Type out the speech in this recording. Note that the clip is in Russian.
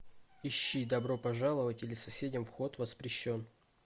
ищи добро пожаловать или соседям вход воспрещен